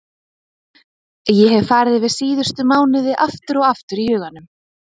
Ég hef farið yfir síðustu mánuði aftur og aftur í huganum.